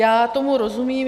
Já tomu rozumím.